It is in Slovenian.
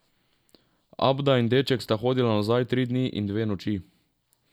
Abda in deček sta hodila nazaj tri dni in dve noči.